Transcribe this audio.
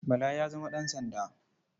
Bala ya zama ɗansanda.